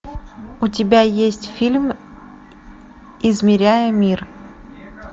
у тебя есть фильм измеряя мир